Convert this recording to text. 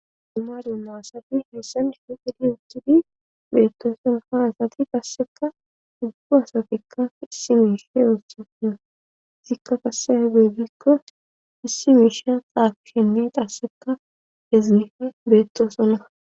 duma duma asati heessen sheqidi uttiidi beettoosonaa asati qaasseka duggu asatikka issi miishe oossaona zikka qassefe beedikko issi miishe qaaqshenne qaasseka hezgihe beettoosona